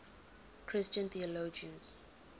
christian theologians